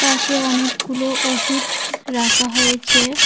পাশে অনেকগুলো ওষুধ রাখা হয়েছে।